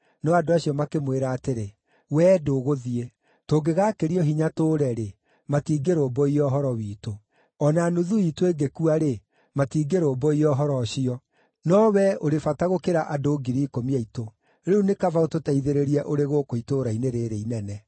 No andũ acio makĩmwĩra atĩrĩ, “Wee ndũgũthiĩ; tũngĩgaakĩrio hinya tũũre-rĩ, matingĩrũmbũiya ũhoro witũ. O na nuthu iitũ ĩngĩkua-rĩ, matingĩrũmbũiya ũhoro ũcio; no wee ũrĩ bata gũkĩra andũ ngiri ikũmi aitũ. Rĩu nĩ kaba ũtũteithĩrĩrie ũrĩ gũkũ itũũra-inĩ rĩĩrĩ inene.”